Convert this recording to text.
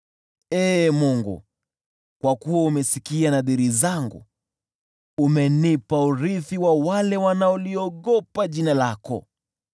Ee Mungu, kwa kuwa umesikia nadhiri zangu, umenipa urithi wa wale wanaoliogopa jina lako.